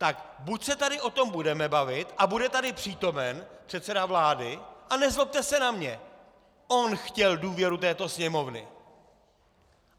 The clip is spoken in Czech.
Tak buď se tady o tom budeme bavit a bude tady přítomen předseda vlády - a nezlobte se na mě, on chtěl důvěru této Sněmovny.